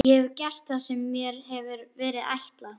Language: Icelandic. Ég hef gert það sem mér hefur verið ætlað.